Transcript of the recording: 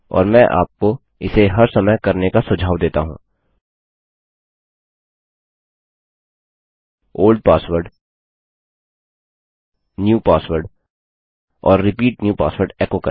और मैं आपको इसे हर समय करने का सुझाव देता हूँ ओल्ड पासवर्ड न्यू पासवर्ड और रिपीट न्यू पासवर्ड एको करें